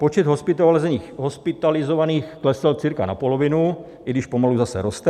Počet hospitalizovaných klesl cca na polovinu, i když pomalu zase roste.